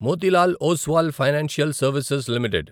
Motilal Oswal financial services limited